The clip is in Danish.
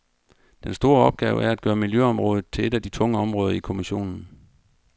Den store opgave er at gøre miljøområdet til et af de tunge områder i kommissionen.